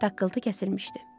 Taqqlıtı kəsilmişdi.